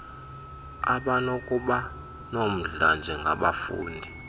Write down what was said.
abanokuba nomdla njengabafundi